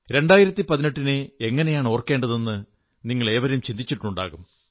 2018 നെ എങ്ങനെയാണ് ഓർക്കേണ്ടതെന്ന് നിങ്ങളേവരും ചിന്തിച്ചിട്ടുണ്ടാകും